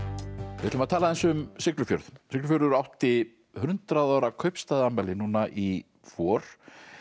við ætlum að tala aðeins um Siglufjörð Siglufjörður átti hundrað ára núna í vor